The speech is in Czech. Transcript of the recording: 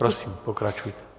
Prosím, pokračujte.